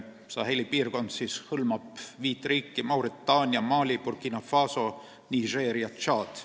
Saheli piirkond hõlmab viit riiki: Mauritaania, Mali, Burkina Faso, Niger ja Tšaad.